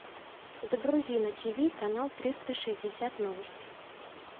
загрузи на ти ви канал триста шестьдесят новости